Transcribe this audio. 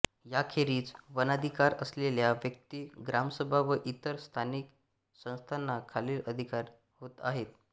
याखेरीज वनाधिकार असलेल्या व्यक्ती ग्रामसभा व इतर स्थानिक संस्थांना खालील अधिकार आहेत